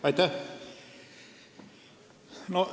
Aitäh!